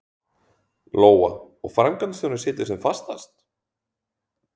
Lóa: Og framkvæmdastjórinn situr sem fastast?